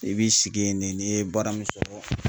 I b'i sigi yen ne n'i ye baara min sɔrɔ